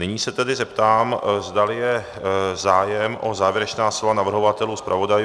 Nyní se tedy zeptám, zdali je zájem o závěrečná slova navrhovatelů, zpravodajů.